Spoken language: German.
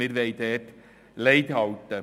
Dort wollen wir Lei halten.